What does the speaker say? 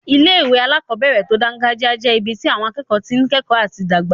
Ilé-ìwé alákobẹ̀rẹ̀ tó dángájíá jẹ́ ibi tí àwọn akẹ́kọ̀ọ́ tí n kẹ́kọ̀ọ́ àti dàgbà